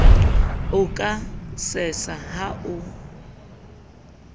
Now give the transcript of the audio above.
o ka sesa ha o